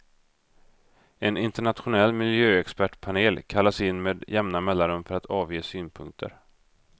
En internationell miljöexpertpanel kallas in med jämna mellanrum för att avge synpunkter.